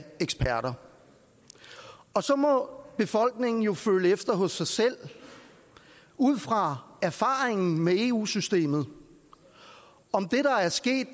af eksperter og så må befolkningen jo føle efter hos sig selv ud fra erfaringen med eu systemet om